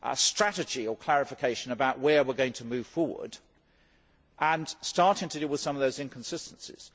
strategy or clarification about where we are going to move forward and starting to deal with some of those inconsistencies.